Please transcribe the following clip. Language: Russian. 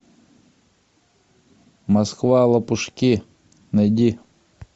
москва лопушки найди